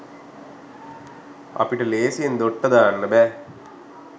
අපිට ‍ලේසියෙන් දොට්ට දාන්න බෑ.